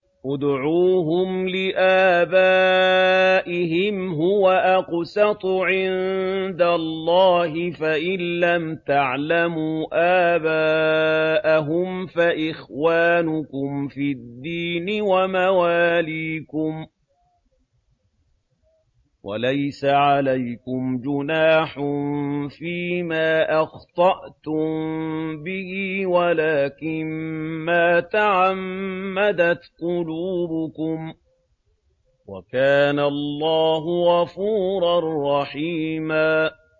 ادْعُوهُمْ لِآبَائِهِمْ هُوَ أَقْسَطُ عِندَ اللَّهِ ۚ فَإِن لَّمْ تَعْلَمُوا آبَاءَهُمْ فَإِخْوَانُكُمْ فِي الدِّينِ وَمَوَالِيكُمْ ۚ وَلَيْسَ عَلَيْكُمْ جُنَاحٌ فِيمَا أَخْطَأْتُم بِهِ وَلَٰكِن مَّا تَعَمَّدَتْ قُلُوبُكُمْ ۚ وَكَانَ اللَّهُ غَفُورًا رَّحِيمًا